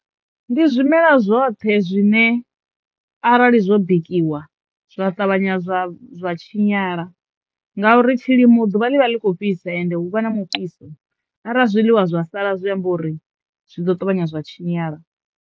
Ndi zwimela zwoṱhe zwine arali zwo bikiwa zwa ṱavhanya zwa zwa tshinyala ngauri tshilimo ḓuvha ḽi vha ḽi kho fhisa ende hu vha na mufhiso arali zwiḽiwa zwa sala zwi amba uri zwi ḓo ṱavhanya zwa tshinyala.